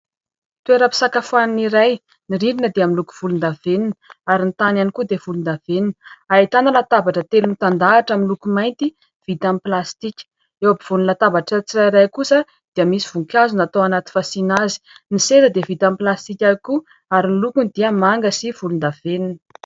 Toeram-pisakafoanana iray, ny rindrina dia miloko volondavenona ary ny tany ihany koa dia volondavenona. Ahitana latabatra telo mitandahatra miloko mainty vita amin'ny plastika. Eo ampovoan'ny latabatra tsirairay kosa dia misy voninkazo natao anaty fasiana azy. Ny seza dia vita amin'ny plastika koa, ary ny lokony dia manga sy volondavenona.